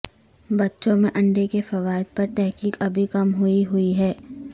بچوں میں انڈے کے فوائد پر تحقیق ابھی کم ہوئی ہوئی ہے